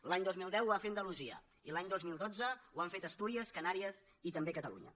l’any dos mil deu ho va fer andalusia i l’any dos mil dotze ho han fet astúries canàries i també catalunya